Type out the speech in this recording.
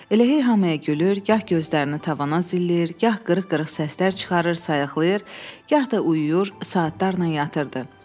Elə hey hamıya gülür, gah gözlərini tavana zilləyir, gah qırıq-qırıq səslər çıxarır, sayıqlayır, gah da uyuyur, saatlarla yatırdı.